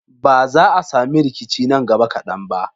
Ba za a sami rikici nan gaba kadan ba.